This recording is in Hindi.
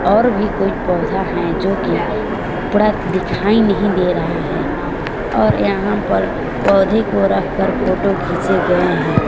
और भी कोई पौधा है जो कि थोड़ा दिखाई नहीं दे रहा है और यहां पर पौधे को रख कर फोटो खींचे गए हैं।